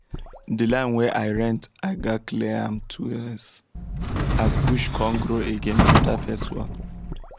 the land wey i rent i gatz clear am twice as bush come grow again after first one